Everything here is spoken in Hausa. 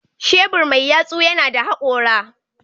Shebur mai yatsu yana da hakora.